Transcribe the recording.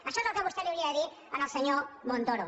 això és el que vostè li hauria de dir al senyor montoro